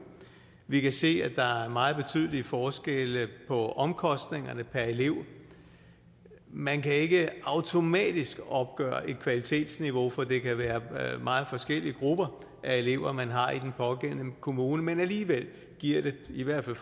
vi kan se at der er meget betydelige forskelle på omkostningerne per elev man kan ikke automatisk opgøre et kvalitetsniveau for det kan være meget forskellige grupper af elever man har i den pågældende kommune men alligevel giver det i hvert fald